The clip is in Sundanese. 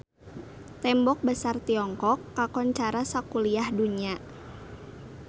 Tembok Besar Tiongkok kakoncara sakuliah dunya